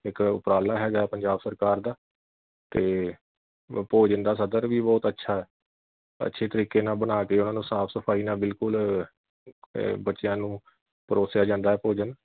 ਇਕ ਉਪਰਾਲਾ ਹੈਗਾ ਪੰਜਾਬ ਸਰਕਾਰ ਦਾ ਤੇ ਭੋਜਨ ਦਾ ਸਤਰ ਵੀ ਬਹੁਤ ਅੱਛਾ ਹੈ। ਅੱਛਾ ਤਰੀਕੇ ਨਾਲ ਬਣਾ ਕੇ ਉਨ੍ਹਾਂ ਨੂੰ ਸਾਫ ਸਫਾਈ ਨਾਲ ਬਿਲਕੁਲ ਅਹ ਬੱਚਿਆਂ ਨੂੰ ਪਰੋਸਿਆ ਜਾਂਦਾ ਐ ਭੋਜਨ